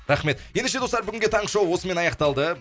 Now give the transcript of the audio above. рахмет ендеше достар бүгінге таңғы шоу осымен аяқталды